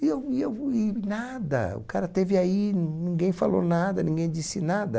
E eu e eu e nada, o cara esteve aí, ninguém falou nada, ninguém disse nada.